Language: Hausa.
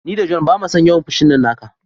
Ni da John bamason yawan fushin nan naka.